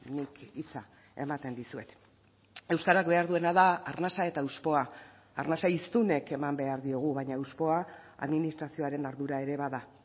nik hitza ematen dizuet euskarak behar duena da arnasa eta hauspoa arnasa hiztunek eman behar diogu baina hauspoa administrazioaren ardura ere bada